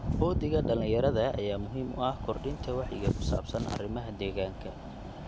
Uhdhigga dhalinyarada ayaa muhiim u ah kordhinta wacyiga ku saabsan arrimaha deegaanka.